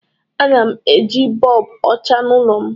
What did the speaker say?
Ana m eji bọlbụ ọcha n'ụlọ m